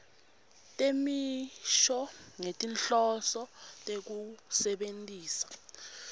temisho ngetinhloso tekusebentisa